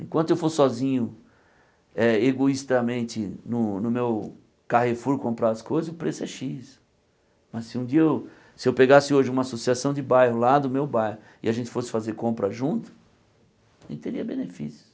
Enquanto eu for sozinho, é egoistamente, no no meu carrefour comprar as coisas, o preço é Xis. Mas se um dia, se eu pegasse hoje uma associação de bairro lá do meu bairro e a gente fosse fazer compra junto, a gente teria benefícios.